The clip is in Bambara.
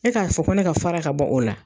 E k'a fɔ ko ne ka fara ka bɔ o la.